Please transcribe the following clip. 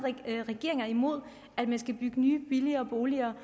regering er imod at man skal bygge nye billige boliger